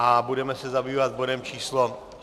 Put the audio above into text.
A budeme se zabývat bodem číslo